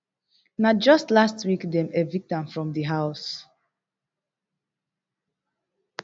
na just last week dem evict am from di house